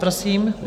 Prosím.